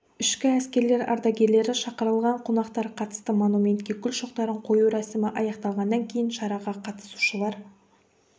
ішкі әскерлер ардагерлері шақырылған қонақтар қатысты монументке гүл шоқтарын қою рәсімі аяқталғаннан кейін шараға қатысушылар